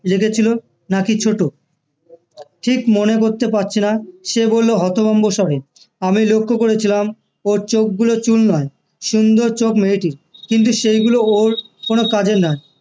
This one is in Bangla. রেখেছিলো না কি ছোট ঠিক মনে করতে পারছিনা সে বললো হতভম্ব স্বরে আমি লক্ষ করেছিলাম ওর চোখ গুলো চুল নয় সুন্দর চোখ মেয়েটির কিন্তু সেগুলো ওর কোনো কাজের নয়